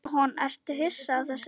Jóhann: Ertu hissa á þessu?